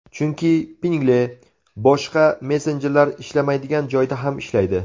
Chunki Pinngle boshqa messenjerlar ishlamaydigan joyda ham ishlaydi!